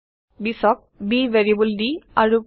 ২০ক b variable দি আৰোপ কৰিম